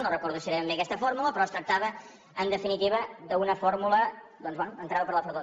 no recordo si era ben bé aquesta fórmula però es tractava en definitiva d’una fórmula doncs bé entrant per la porta del